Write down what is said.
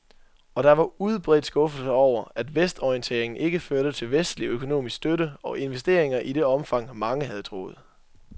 Og der var udbredt skuffelse over, at vestorienteringen ikke førte til vestlig økonomisk støtte og investeringer i det omfang, mange havde troet.